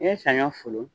I ye saɲɔ folo